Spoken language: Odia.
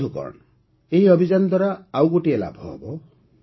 ବନ୍ଧୁଗଣ ଏହି ଅଭିଯାନ ଦ୍ୱାରା ଆଉ ଗୋଟିଏ ଲାଭ ହେବ